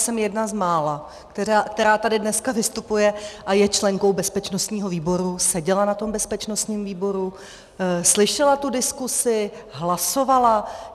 Jsem jedna z mála, která tady dneska vystupuje a je členkou bezpečnostního výboru, seděla na tom bezpečnostním výboru, slyšela tu diskusi, hlasovala.